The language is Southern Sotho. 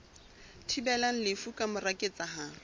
thibelang lefu ka mora ketsahalo